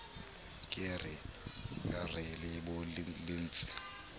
ke re re le bolelletse